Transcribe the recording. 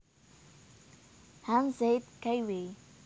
Hanz Zeth Kaiway